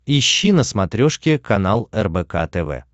ищи на смотрешке канал рбк тв